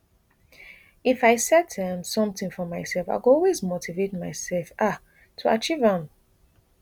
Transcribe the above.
if i set um somtin for mysef i go always motivate myself um to achieve am